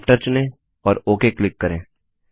after चुनें और okay click करें